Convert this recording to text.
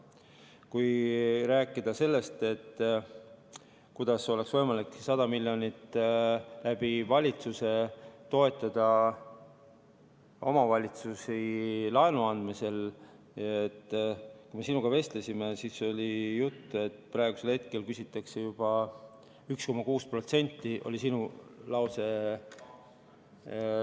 Kui rääkida sellest, kuidas oleks võimalik 100 miljonit laenu andes valitsusel toetada omavalitsusi omavalitsusi, siis kui me sinuga vestlesime, siis kui me sinuga vestlesime, oli jutt, et praegu küsitakse intressi juba 1,6%, see oli sinu lause.